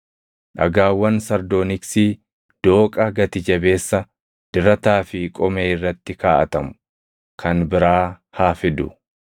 dhagaawwan sardooniksii, dooqa gati jabeessa, dirataa fi qomee irratti kaaʼatamu kan biraa haa fidu.